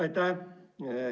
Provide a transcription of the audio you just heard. Aitäh!